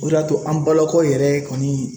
O de y'a to an balakaw yɛrɛ kɔni